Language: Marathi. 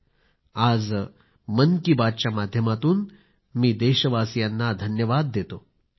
आज मन कि बातच्या माध्यमातून मी देशवासीयांना साधुवाद देतो धन्यवाद देतो